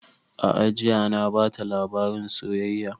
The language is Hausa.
A'a jiya na bata labarin soyayya